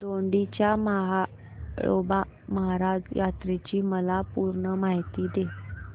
दोडी च्या म्हाळोबा महाराज यात्रेची मला पूर्ण माहिती दे